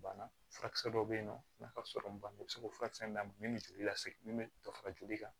Banna furakisɛ dɔ bɛ yen nɔ n'a ka sɔrɔ banna i bɛ se k'o furakisɛ d'a ma min bɛ joli lasegin min bɛ dɔ fara joli kan